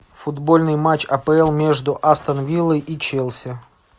футбольный матч апл между астон виллой и челси